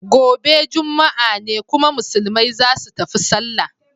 Gobe juma'a ne kuma musulmai zasu tafi sallah.